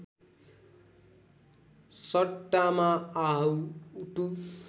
सट्टामा how to